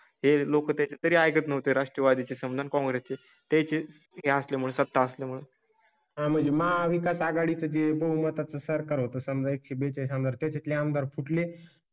हे लोक त्या तरी ऐकत नव्हते. राष्ट्रवादी चे समाधान, काँग्रेस ची त्या ची असल्यामुळे सत्ता असल्यामुळे. हां म्हणजे महाविकास आघाडी साठी बहुमता चं सरकार होतं. समजा एक ही बळी च्या नात्यातले आमदार फुटले